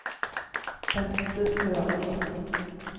Bente Sørli